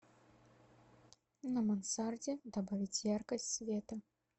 на мансарде добавить яркость света